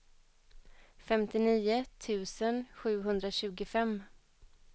femtionio tusen sjuhundratjugofem